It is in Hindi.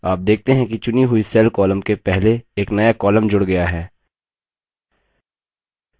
आप देखते हैं कि चुनी हुई cell column के पहले एक नया column जूड़ गया है